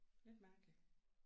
Lidt mærkeligt